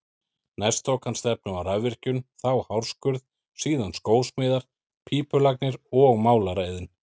Næst tók hann stefnu á rafvirkjun, þá hárskurð, síðan skósmíðar, pípulagnir og málaraiðn.